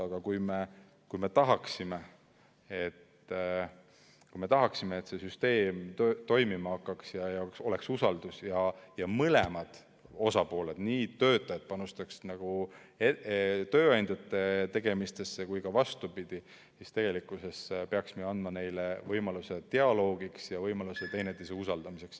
Aga kui me tahame, et see süsteem toimima hakkaks ja oleks usaldus ja mõlemad osapooled panustaksid, töötajad panustaksid tööandjate tegemistesse ja ka vastupidi, siis see peaks andma neile võimaluse dialoogiks ja võimaluse teineteise usaldamiseks.